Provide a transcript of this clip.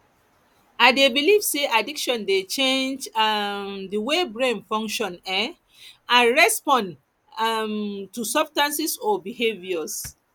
i dey believe say addiction dey change um di way brain function um and respond um to substances or behaviours